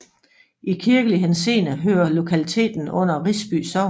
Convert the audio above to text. I kirkelig henseende hører lokaliteten under Risby Sogn